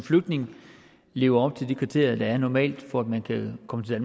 flygtning lever op til de kriterier der normalt er for at man kan komme til